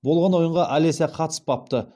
болған ойынға алеся қатыспапты